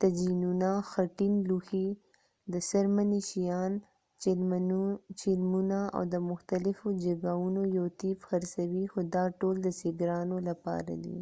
طجینونه خټین لوښي د څرمنې شیان چیلمونه او د مختلفو جیګاوونو یو طیف خرڅوي خو دا ټول د سېګرانو لپاره دي